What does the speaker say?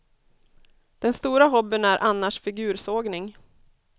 Den stora hobbyn är annars figursågning.